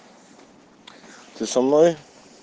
ты со мной